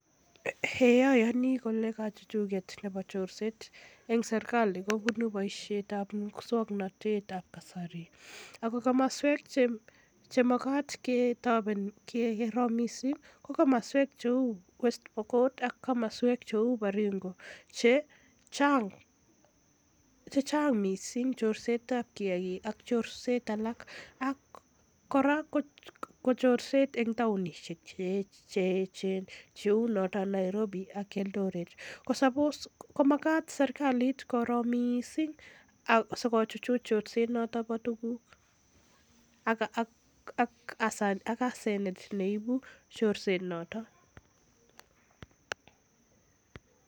Eii ayani ole kachuchuket nebo chorset en serkali kobunu boisiet ab muswong'notet ab kasari ako komoswek chemagat ketopen keker missing' ko West Pokot ak Baringo che chang' missing' chorset ab kiagik ak alak ak kora ko chorset en taonisiek cheyechen cheu noton Nairobi ak Eldoret ko magat koro serkalit missing sikochuchuch chorset bo tuguk ak asenet neibu chorso noton.